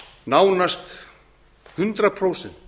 nánast hundrað prósent